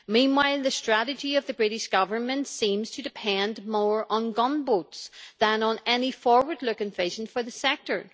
Meanwhile the strategy of the British Government seems to depend more on gunboats than on any forward looking vision for the sector.